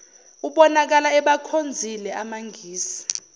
ubonakala ebakhonzile amangisi